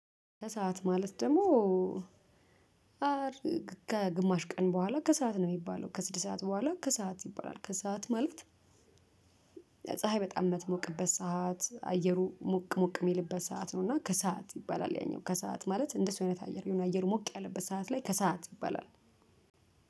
ከሰአት ማለት ደግሞ አድርግ ከግማሽ ቀን በኋላ ከሰአት ነው የሚባለው ከስድስት ሰዓት በኋላ ከሰአት ከሰአት ይባላል። ከሰአት ማለት ፀሀይ በጣም የምትሞቅበት ሰዓት አየሩ ሞቅ ሞቅ የሚልበት ሰዓት ነው። እና ከሰአት ይባላል ያኛው ከሰአት ማለት እንደሰው አይነት አየር የሆነ አየሩ ሞቅ ያለበት ሰዓት ላይ ከሰአት ይባላል